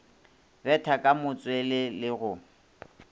betha ka matswele le go